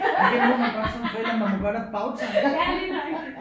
Det må man godt som forælder man må godt have bagtanker